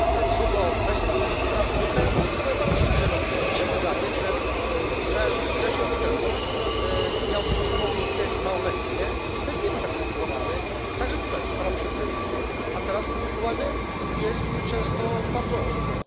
Co do kwestii praw człowieka, ja powiem bardzo szczerze wydaje mi się, że Izrael kilkanaście lat temu miał taką samą politykę, jaką ma obecnie, i wtedy nie był tak krytykowany, także tutaj, w Parlamencie Europejskim, a teraz krytykowany jest często bardzo ostro.